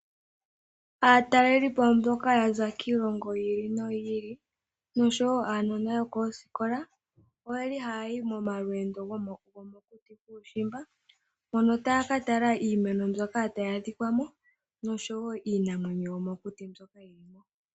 Aatalelelipo mboka ya za kiilongo yi ili noyi ili osho woo aanona yokoosikola oyeli haya yi momalweendo gomokuti kuushimba mono taya ka tala iimeno mbyoka tayi adhika mo nosho woo iinamwenyo yomokuti.